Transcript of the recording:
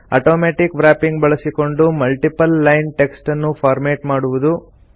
automatic wrapping ಬಳಸಿಕೊಂಡು multiple line text ಅನ್ನು formatting ಮಾಡುವುದು